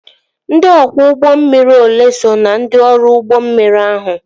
Ndị ọkwọ ụgbọ mmiri olee so na ndị ọrụ ụgbọ mmiri ahụ?